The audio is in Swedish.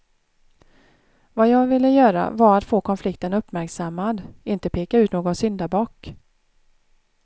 Vad jag ville göra var att få konflikten uppmärksammad, inte peka ut någon syndabock.